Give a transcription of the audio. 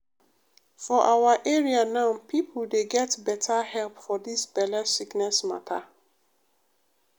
for awa area now pipo dey get beta help for dis belle sickness mata.